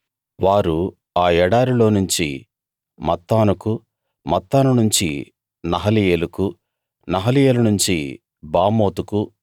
వారు ఆ ఎడారిలోనుంచి మత్తానుకూ మత్తాను నుంచి నహలీయేలుకూ నహలీయేలు నుంచి బామోతుకూ